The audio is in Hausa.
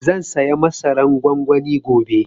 Zan saya masaran gwangwani gobe